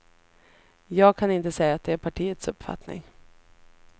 Jag kan inte säga att det är partiets uppfattning.